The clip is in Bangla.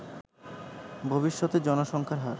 ভবিষ্যতে জনসংখ্যার হার